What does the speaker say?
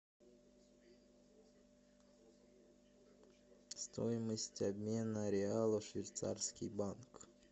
стоимость обмена реала швейцарский банк